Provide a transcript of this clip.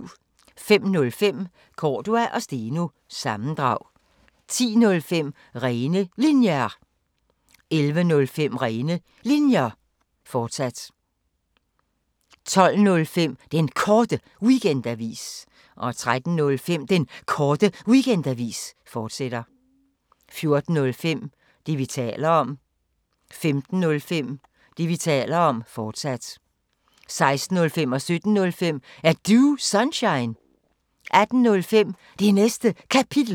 05:05: Cordua & Steno – sammendrag 10:05: Rene Linjer 11:05: Rene Linjer, fortsat 12:05: Den Korte Weekendavis 13:05: Den Korte Weekendavis, fortsat 14:05: Det, vi taler om 15:05: Det, vi taler om, fortsat 16:05: Er Du Sunshine? 17:05: Er Du Sunshine? 18:05: Det Næste Kapitel